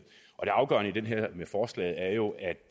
afgørende med forslaget er jo at